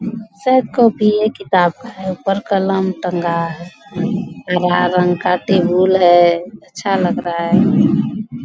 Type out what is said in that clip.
सब कॉपिये किताब का है | ऊपर कलम टंगा है लाल रंग का टेबूल है अच्छा लग रहा है |